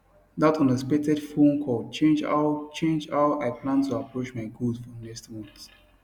that unexpected phone call change how change how i plan to approach my goals for next month